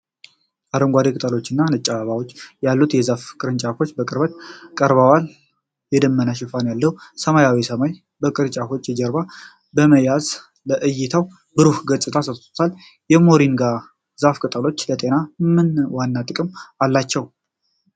አረንጓዴ ቅጠሎችና ነጭ አበባዎች ያሉት የዛፍ ቅርንጫፍ በቅርበት ቀርቧል። የደመና ሽፋን ያለው ሰማያዊ ሰማይ የቅርንጫፉን ጀርባ በመያዝ ለዕይታው ብሩህ ገጽታን ሰጥቷል። የሞሪንጋ ዛፍ ቅጠሎች ለጤና ምን ዋና ጥቅም አላቸው?